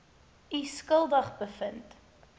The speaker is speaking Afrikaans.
u skuldig bevind